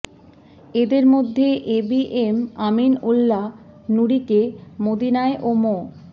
এদের মধ্যে A B M Amin Ullah নুরীকে মদিনায় ও মো